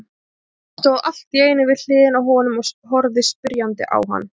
Tóti stóð allt í einu við hliðina á honum og horfði spyrjandi á hann.